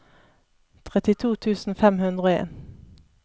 trettito tusen fem hundre og en